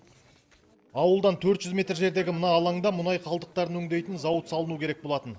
ауылдан төрт жүз метр жердегі мына алаңда мұнай қалдықтарын өңдейтін зауыт салыну керек болатын